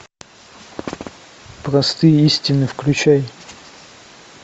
простые истины включай